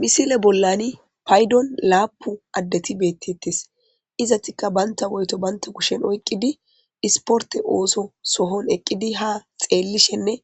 Misile bollani paydon laapu addeti beetetes; izetikka banta woyto banta kushen oyqidi isporte ooso sohon eqqidi haa xeelishenne